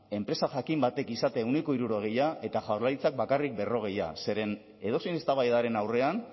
enpresa jakin batek izatea ehuneko hirurogeia eta jaurlaritzak bakarrik berrogeia zeren edozein eztabaidaren aurrean